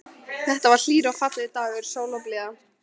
Þetta var hlýr og fallegur dagur, sól og blíða.